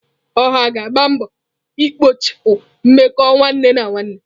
Oha ga-agba mbọ ikpochapụ mmekọ nwanne na nwanne.